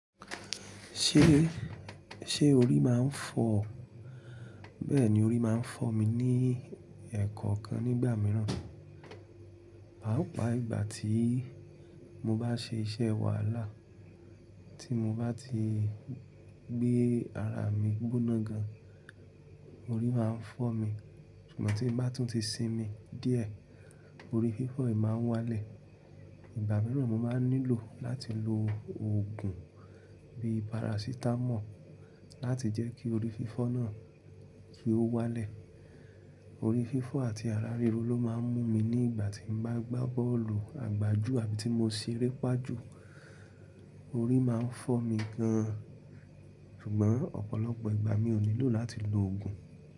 Ṣé, ṣe orí máa ń fọ́? Bẹ́ẹ̀ni, orí máa ń fọ́ mi ní ẹ̀ẹ̀kọ̀kan nígbà mìíràn, pàápàá ìgbà tí mo bá ṣe iṣẹ́ wàhálà, tí mo bá ti gbé ara mi gbóná gan, orí máa ń fọ́ mi. Ṣùgbọ́n tí bá tún ti sinmi díẹ̀, orí fífọ́ yìí máa ń wá lẹ̀. Ìgbà mìíràn mo máa nílò láti lo oògùn bíi parasitamọ́ọ̀ láti jẹ́ kí orí fífọ́ náà kí ó wá lẹ̀. Orí fífọ́ àti ara ríro ló máa ń mú mi nígbà tí mo bá gbá bọ́ọ̀lù àgbájù àbí tí mo ṣeré pà jù. Orí máa ń fọ́ mi gan, ṣùgbọ́n ọ̀pọ̀lọpọ̀ ìgbà mi ò nílò láti lo oògùn.